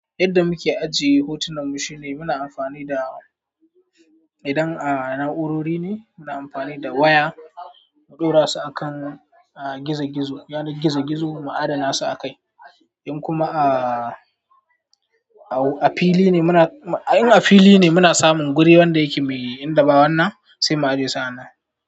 Yadda muke ajiye hotunan mu shine muna amfani da idan a na'urori ne muna amfani da waya mu ɗora su a kan gizo-gizo, yanar gizo-gizo mu adana su a kai. In kuma a fili ne muna, in a fili muna samun guri wanda yake mai inda ba wannan mu ajiye sa a nan.